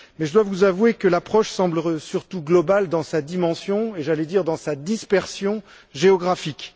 Mais je dois vous avouer que l'approche semble surtout globale dans sa dimension et, j'allais dire, dans sa dispersion géographique.